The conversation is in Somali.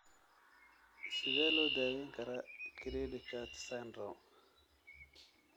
Sidee loo daweyn karaa cri du chat syndrome?